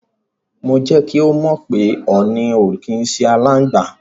Mo jẹ́ kí ó mọ̀ pé ọ̀nì ò kí ń ṣe aláǹgbá.